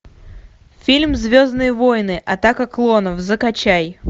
фильм звездные воины атака клонов закачай